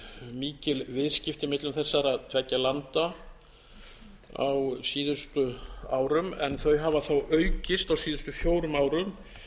mikil viðskipti millum þessara tveggja landa á síðustu árum en þau hafa þó aukist á síðustu fjórum árum